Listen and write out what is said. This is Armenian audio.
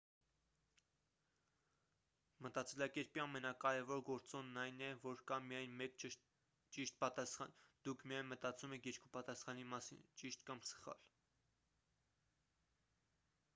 մտածելակերպի ամենակարևոր գործոնն այն է որ կա միայն մեկ ճիշտ պատասխան դուք միայն մտածում եք երկու պատասխանի մասին ճիշտ կամ սխալ